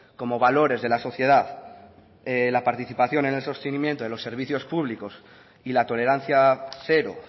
como valores de la sociedad la participación en el sostenimiento de los servicios públicos y la tolerancia cero